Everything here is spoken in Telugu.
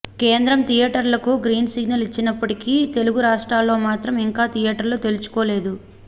కేంద్రం థియేటర్లకు గ్రీన్ సిగ్నల్ ఇచ్చినప్పటికీ తెలుగు రాష్ట్రాల్లో మాత్రం ఇంకా థియేటర్లు తెరుచుకోలేదు